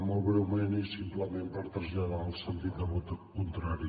molt breument i simplement per traslladar el sentit de vot contrari